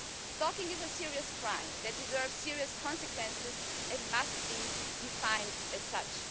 Stalking is a serious crime that deserves serious consequences and it must be defined as such.